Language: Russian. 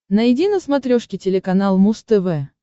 найди на смотрешке телеканал муз тв